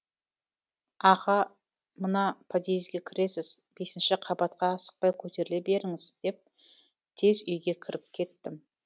аға мына подъезге кіресіз бесінші қабатқа асықпай көтеріле беріңіз деп тез үйге кіріп кеттім